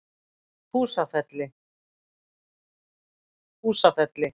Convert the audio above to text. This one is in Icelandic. Húsafelli